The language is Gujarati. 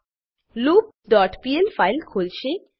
મા લૂપ ડોટ પીએલ ફાઈલ ખોલશે